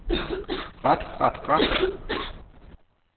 ret ret ret